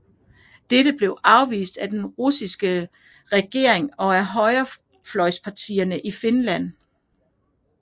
Dette blev afvist af den russiske provisoriske regering og af højrefløjspartierne i Finland